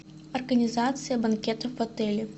организация банкета в отеле